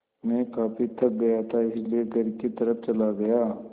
मैं काफ़ी थक गया था इसलिए घर की तरफ़ चला गया